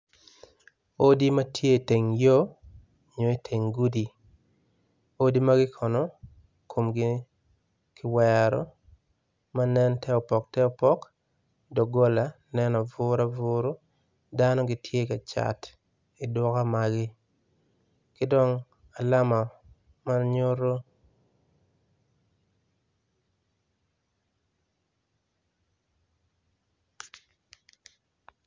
Odi matye i teng yo onyo iteng gudi odi magikono tye komgi kiwero manen ter opok ter opok dogola tye aburuaburu dano gitye kacat iduka magi kidongo alama manyuto.